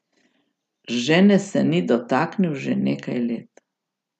Žene se ni dotaknil že nekaj let.